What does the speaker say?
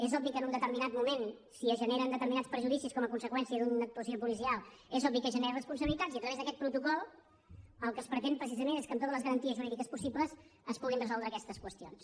és obvi que en un determinat moment si es generen determinats perjudicis com a conseqüència d’una actuació policial és obvi que es generen responsabilitats i a través d’aquest protocol el que es pretén precisament és que amb totes les garanties jurídiques possibles es puguin resoldre aquestes qüestions